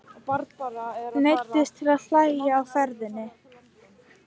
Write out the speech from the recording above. Neyddist til að hægja á ferðinni.